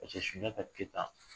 Paseke Sunjata Keyita